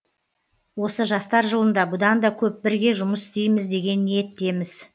осы жастар жылында бұдан да көп бірге жұмыс істейміз деген ниеттеміз